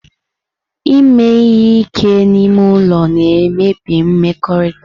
Ime ihe ike n'ime ụlọ na-emebi mmekọrịta.